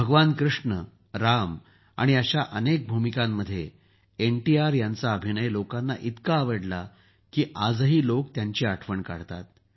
भगवान कृष्ण राम आणि अशा अनेक भूमिकांमध्ये एनटीआर यांचा अभिनय लोकांना इतका आवडला की आजही लोक त्यांची आठवण काढतात